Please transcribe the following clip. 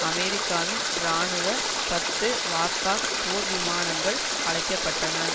அமெரிக்காவின் இராணுவ பத்து வார்தாக் போர்விமானங்கள் அழைக்கப்பட்டன